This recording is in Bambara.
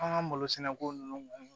An ka malo sɛnɛ ko ninnu